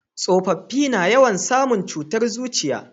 tsofaffi na yawan samu cutar zuciya